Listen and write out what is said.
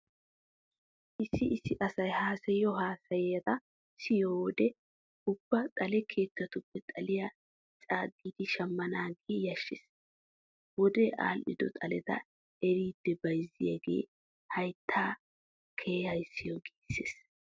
Issi issi asay haasayiyo haasayata siyiyo wode ubba xale keettatuppe xaliya coogidi shammanaagee yashshees. Wodee aadhdhido xaleta eriiddi bayzziyogee hayttay kehaa siyo giissees.